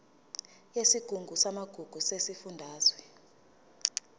yesigungu samagugu sesifundazwe